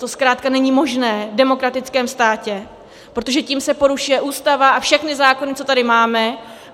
To zkrátka není možné v demokratickém státě, protože tím se porušuje Ústava a všechny zákony, co tady máme.